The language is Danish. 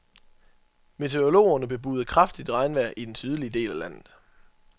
Meteorologerne bebuder kraftigt regnvejr i den sydlige del af landet.